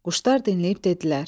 Quşlar dinləyib dedilər: